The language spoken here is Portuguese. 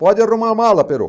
Pode arrumar a mala, Perocco.